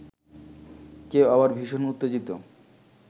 কেউ আবার ভীষণ উত্তেজিত